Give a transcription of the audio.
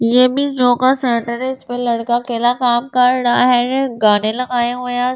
ये भी जो इस पे लड़का अकेला काम कर रहा है गाने लगाया हुआ उसने सामने से।